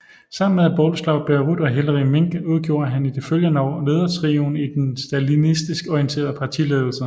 Sammen med Bolesław Bierut og Hilary Minc udgjorde han i de følgende år ledertrioen i den stalinistisk orienterede partiledelse